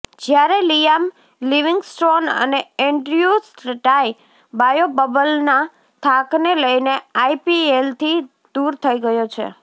જ્યારે Liam Livingstone અને Andrew Tye બાયોબબલના થાકને લઇને આઇપીએલ થી દુર થઇ ગયો છે